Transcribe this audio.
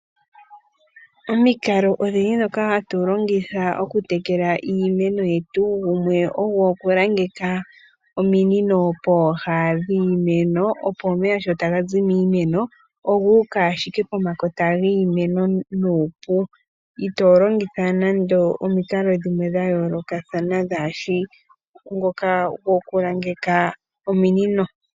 Omikalo odhindji ndhoka hatu longitha okutekela iimeno yetu, gumwe ogo okulangeka ominino pooha dhiimeno, opo omeya sho taga zi momunino ogu uka ashike pomakota giimeno nuupu, itoo longitha nande omikalo dhimwe dha yoolokathana dhaa shi ngoka gokulangeka ominino.